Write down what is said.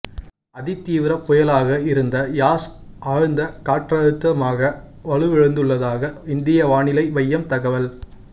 அதிதீவிர புயலாக இருந்த யாஸ் ஆழ்ந்த காற்றழுத்தமாக வலுவிழந்துள்ளதாக இந்திய வானிலை மையம் தகவல்